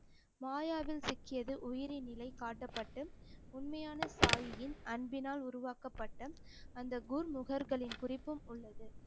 மாயாவில் சிக்கியது உயிரின் நிலை காட்டப்பட்டு உண்மையான தாயின் அன்பினால் உருவாக்கப்பட்ட அந்த குர் முகர்களின் குறிப்பும் உள்ளது